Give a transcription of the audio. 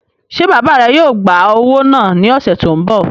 Ṣé bàbá rẹ yóò gbá owó náà ní ọ̀sẹ̀ tó n bọ̀?